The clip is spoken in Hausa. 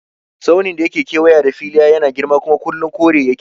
Tsaunin da yake kewaye da Filiya yana da girma kuma kullum kore yake